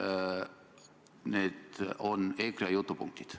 Ma palun veel kord, et te selle vastuse annaksite.